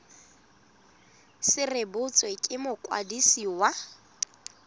se rebotswe ke mokwadisi wa